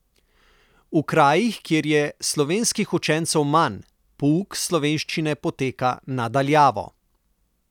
V krajih, kjer je slovenskih učencev manj, pouk slovenščine poteka na daljavo.